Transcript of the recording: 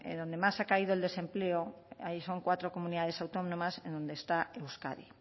donde más ha caído el desempleo ahí son cuatro comunidades autónomas en donde está euskadi